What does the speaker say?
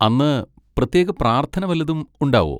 അന്ന് പ്രത്യേക പ്രാർത്ഥന വല്ലതും ഉണ്ടാവോ?